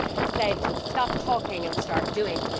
They said stop talking and start doing'.